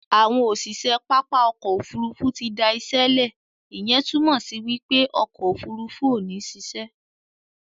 Àwọn òṣìṣẹ́ pápá òkò òfúrùfú ti dá işe le, ìyẹn túmọ̀ sí wípé òkò òfúrùfú ò ní sise